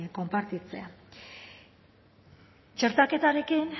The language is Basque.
konpartitzea txertaketarekin